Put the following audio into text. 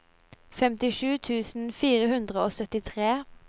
femtisju tusen fire hundre og syttitre